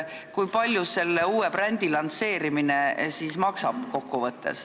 Kui palju selle uue brändi lansseerimine kokku maksab?